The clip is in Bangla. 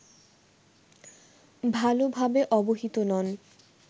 ভালোভাবে অবহিত নন